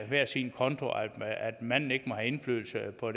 hver sin konto og at manden ikke må have indflydelse på